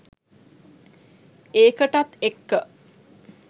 ඒකටත් එක්ක